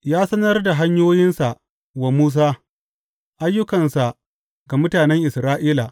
Ya sanar da hanyoyinsa wa Musa, ayyukansa ga mutanen Isra’ila.